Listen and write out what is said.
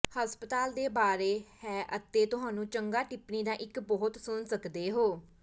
ਹਸਪਤਾਲ ਦੇ ਬਾਰੇ ਹੈ ਅਤੇ ਤੁਹਾਨੂੰ ਚੰਗਾ ਟਿੱਪਣੀ ਦਾ ਇੱਕ ਬਹੁਤ ਸੁਣ ਸਕਦੇ ਹੋ